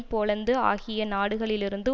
Poland ஆகிய நாடுகளிலிருந்து